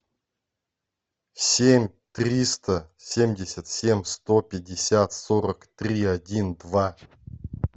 семь триста семьдесят семь сто пятьдесят сорок три один два